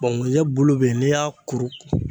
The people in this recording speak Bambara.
ŋunjɛ bulu be ye n'i y'a kuru